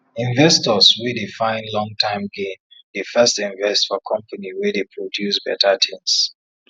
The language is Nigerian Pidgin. investors wey dey find long term gain dey first invest for company wey dey produce better tins